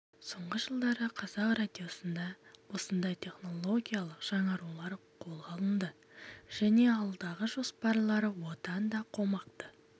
соңғы жылдары қазақ радиосында осындай технологиялық жаңарулар қолға алынды және алдағы жоспарлары одан да қомақты